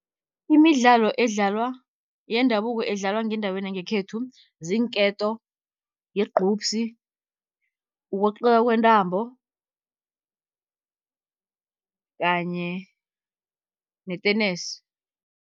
Imidlalo edlalwa yendabuko edlalwa ngendaweni yangekhethu ziinketo, yigqubsi, ukweqeka kwentambo kanye netenesi.